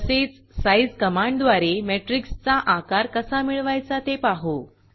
तसेच sizeसाइज़ कमांडद्वारे मॅट्रिक्सचा आकार कसा मिळवायचा ते पाहू